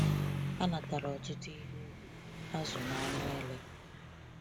Ha natara ọtụtụ ihe ubi, azụ, na anụ ele.